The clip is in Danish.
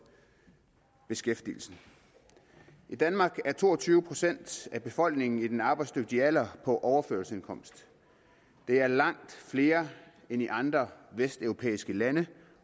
beskæftigelsen i danmark er to og tyve procent af befolkningen i den arbejdsdygtige alder på overførselsindkomst det er langt flere end i andre vesteuropæiske lande